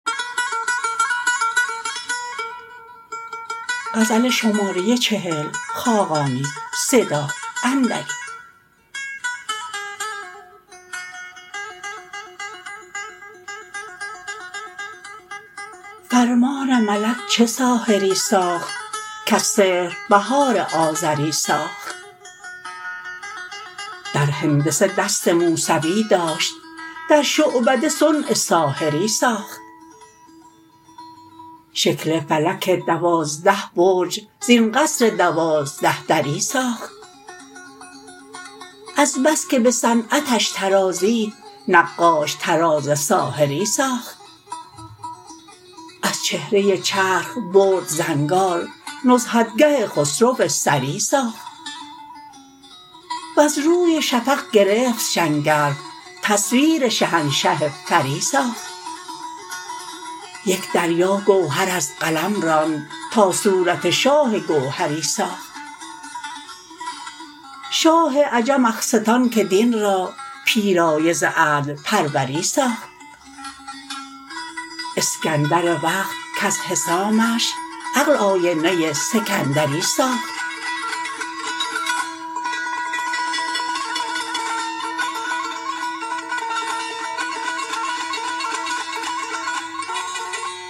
فرمان ملک چه ساحری ساخت کز سحر بهار آزری ساخت در هندسه دست موسوی داشت در شعبده صنع ساحری ساخت شکل فلک دوازده برج زین قصر دوازده دری ساخت از بس که به صنعتش طرازید نقاش طراز ساحری ساخت از چهره چرخ برد زنگار نزهتگه خسرو سری ساخت وز روی شفق گرفت شنگرف تصویر شهنشه فری ساخت یک دریا گوهر از قلم راند تا صورت شاه گوهری ساخت شاه عجم اخستان که دین را پیرایه ز عدل پروری ساخت اسکندر وقت کز حسامش عقل آینه سکندری ساخت